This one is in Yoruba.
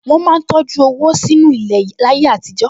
Wọ́n máa ń tọjú owó sínú ilẹ̀ láyé àtijọ́